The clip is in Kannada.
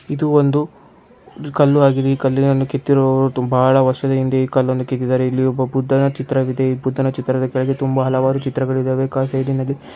ಇದೊಂದು ಕಲ್ಲು ಆಗಿದೆ ಕೆತ್ತಿದ್ದಾರೆ ಇದು ಬಹಳ ವರ್ಷಗಳಿಂದಲೇ ಕೆತ್ತಿದ್ದಾರೆ ಇದೊಂದು ಬುದ್ಧದ ಚಿತ್ರ ಇದೆ ಈ ಬುದ್ಧನ ಚಿತ್ರದ ಕೆಳಗೆ ಹಲವಾರು ಚಿತ್ರಗಳಿವೆ.